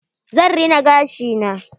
Zan rina gashi na.